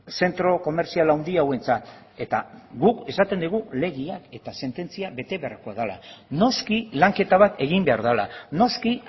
zentro komertzial handi hauentzat eta guk esaten dugu legeak eta sententziak bete beharko dela noski lanketa bat egin behar dela noski